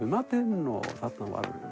í matinn og þarna